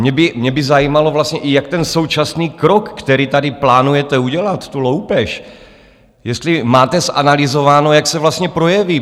Mě by zajímalo vlastně, i jak ten současný krok, který tady plánujete udělat, tu loupež, jestli máte zanalyzováno, jak se vlastně projeví.